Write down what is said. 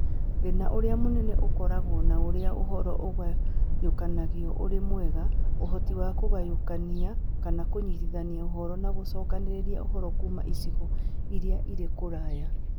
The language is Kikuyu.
Thĩna ũrĩa mũnene ũkoragwo na ũrĩa ũhoro ũũnganagio ũrĩ mwega, ũhoti wa kũgayũkania kana kũnyitithania ũhoro na gũcokanĩrĩria ũhoro kuuma icigo iria irĩ kũraya.